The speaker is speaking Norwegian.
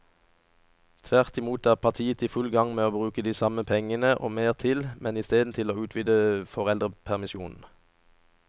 Tvert imot er partiet i full gang med å bruke de samme pengene og mer til, men i stedet til å utvide foreldrepermisjonen.